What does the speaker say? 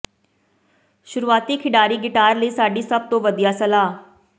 ਸ਼ੁਰੂਆਤੀ ਖਿਡਾਰੀ ਗਿਟਾਰ ਲਈ ਸਾਡੀ ਸਭ ਤੋਂ ਵਧੀਆ ਸਲਾਹ